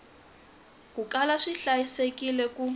ku kala swi hlayisekile ku